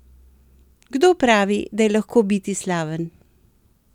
Kdo pravi, da je lahko biti slaven?